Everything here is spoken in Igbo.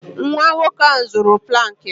Nwa nwoke a zuru plank m